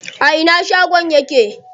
A ina shagon yake?